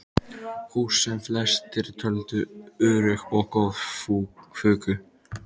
Hús, sem flestir töldu örugg og góð, fuku.